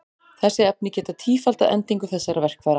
Þessi efni geta tífaldað endingu þessara verkfæra.